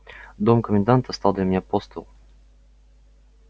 дом коменданта стал для меня постыл